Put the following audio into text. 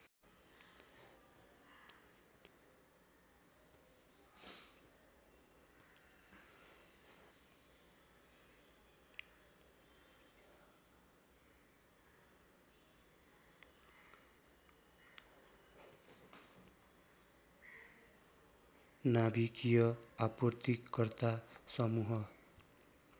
नाभिकीय आपूर्तिकर्ता समूह